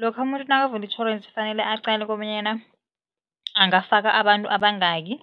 Lokha umuntu nakavula itjhorensi kufanele aqale kobonyana angafaka abantu abangaki